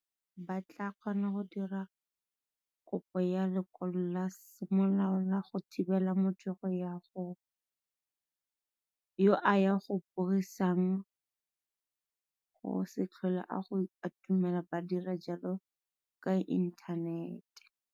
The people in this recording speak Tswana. Bangongoregi ba tla kgona go dira kopo ya lekwalo la semolao la go thibela motho yo a go bogisang go se tlhole a go atumela ba dira jalo ka inthanete.